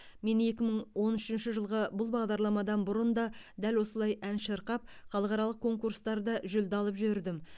мен екі мың он үшінші жылғы бұл бағдарламадан бұрын да дәл осылай ән шырқап халықаралық конкурстарда жүлде алып жүрдім